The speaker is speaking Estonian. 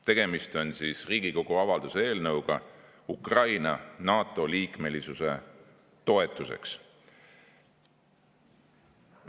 Tegemist on Riigikogu avalduse eelnõuga Ukraina NATO liikmesuse toetuseks.